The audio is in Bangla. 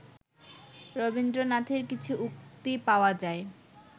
রবীন্দ্রনাথের কিছু উক্তি পাওয়া যায়